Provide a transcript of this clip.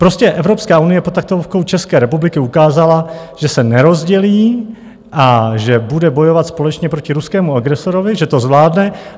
Prostě Evropská unie pod taktovkou České republiky ukázala, že se nerozdělí a že bude bojovat společně proti ruskému agresorovi, že to zvládne.